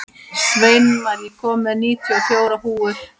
Sveinmar, ég kom með níutíu og fjórar húfur!